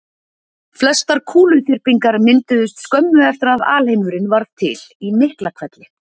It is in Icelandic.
Flestar kúluþyrpingar mynduðust skömmu eftir að alheimurinn varð til í Miklahvelli.